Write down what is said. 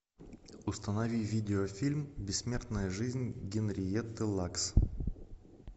установи видеофильм бессмертная жизнь генриетты лакс